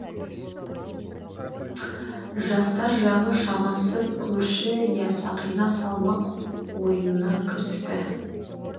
жастар жағы шамасы көрші иә сақина салмақ ойынына кірісті